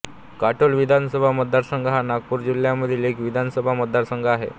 काटोल विधानसभा मतदारसंघ हा नागपूर जिल्ह्यामधील एक विधानसभा मतदारसंघ आहे